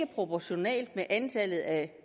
proportionalt med antallet af